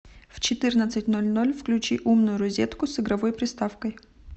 в четырнадцать ноль ноль включи умную розетку с игровой приставкой